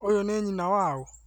Ũyũnĩ nyina wa ũ?